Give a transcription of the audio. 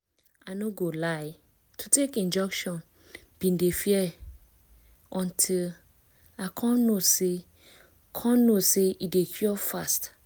i no go lie to take injection been dey fear until i come know say come know say e dey cure fast